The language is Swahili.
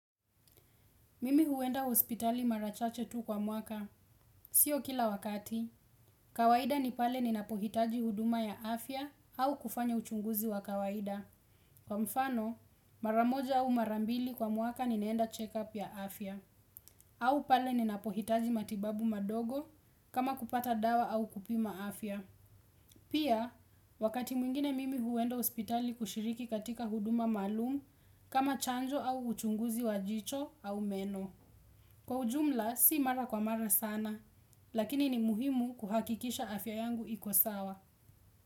Mimi huenda hospitali marachache tu kwa mwaka. Sio kila wakati, kawaida ni pale ninapohitaji huduma ya afya au kufanya uchunguzi wa kawaida. Kwa mfano, maramoja au marambili kwa mwaka ninaenda check-up ya afya. Au pale ninapohitaji matibabu madogo kama kupata dawa au kupima afya. Pia, wakati mwingine mimi huenda hospitali kushiriki katika huduma maalum kama chanjo au uchunguzi wa jicho au meno. Kwa ujumla si mara kwa mara sana, lakini ni muhimu kuhakikisha afya yangu ikosawa.